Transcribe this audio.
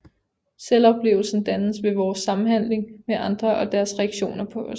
Selvoplevelsen dannes ved vores samhandling med andre og deres reaktioner på os